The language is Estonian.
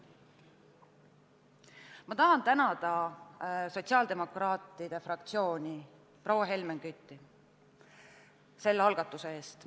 Ma tahan tänada sotsiaaldemokraatide fraktsiooni, eriti proua Helmen Kütti selle algatuse eest.